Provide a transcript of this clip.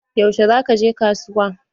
Yaushe za ka je kasuwa?